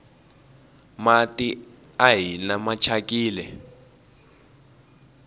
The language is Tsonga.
mati a hina machakini